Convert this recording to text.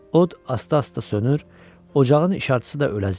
Od asta-asta sönür, ocağın işartısı da özəlirdi.